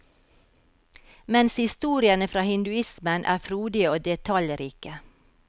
Mens historiene fra hinduismen er frodige og detaljrike.